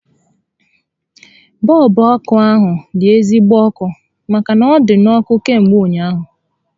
Bọọlbụ ọkụ ahu dị ezigbo ọkụ màkà na ọ dị n'ọkụ kamgbe ụnyaahụ